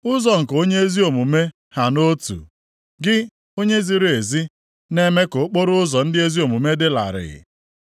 Ụzọ nke onye ezi omume ha nʼotu, gị, Onye ziri ezi, na-eme ka okporoụzọ ndị ezi omume dị larịị.